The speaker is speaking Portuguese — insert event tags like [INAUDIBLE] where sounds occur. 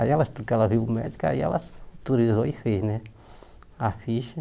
Aí ela [UNINTELLIGIBLE] ela viu o médico, aí ela autorizou e fez né a ficha.